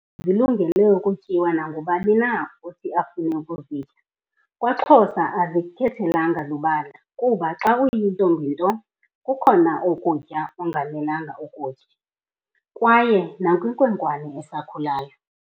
Inkobe zilungele ukutyiwa nangubani na othi afune ukuzitya kwaXhosa azikhethelanga lubala kuba xa uyintombi nto kukhona ukutya okungamelanga kuthi ukutye kaye nakwinkwenkwe esakhuluyo.